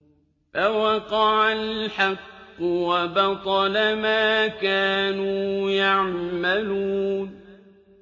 فَوَقَعَ الْحَقُّ وَبَطَلَ مَا كَانُوا يَعْمَلُونَ